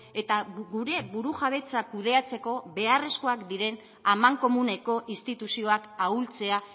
eta gure burujabetza kudeatzeko beharrekoak diren amankomuneko instituzioak ahultzea